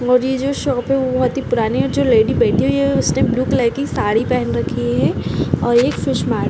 और ये जो शॉप है वो बहोत ही पुरानी है और जो लेडी बैठी हुई है उसने ब्लू कलर की साड़ी पहन रखी है और ये फिश मार --